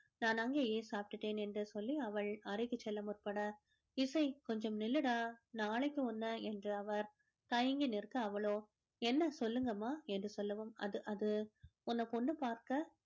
நான் அங்கேயே சாப்பிட்டுட்டேன் என்று சொல்லி அவள் அறைக்கு முற்பட இசை கொஞ்சம் நில்லுடா நாளைக்கு உன்னை என்று அவர் தயங்கி நிற்க அவளோ என்ன சொல்லுங்கம்மா என்று சொல்லவும் அது அது உன்னை பொண்ணு பார்க்க